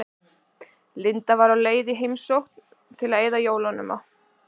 Linda var á leið í heimsókn til að eyða jólunum á